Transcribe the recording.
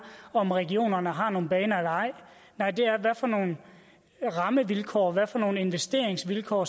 om regionerne har nogle baner eller ej nej det er hvad for nogle rammevilkår hvad for nogle investeringsvilkår